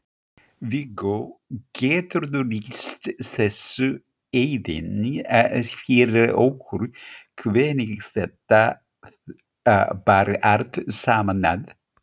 Viggó, geturðu lýst þessu aðeins fyrir okkur hvernig þetta bar allt saman að?